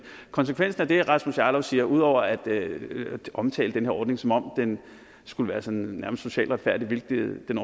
konsekvensen af det rasmus jarlov siger ud over at omtale den her ordning som om den skulle være sådan nærmest socialt retfærdig hvilket den